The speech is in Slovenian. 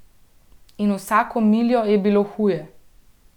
In vsako miljo je bilo huje.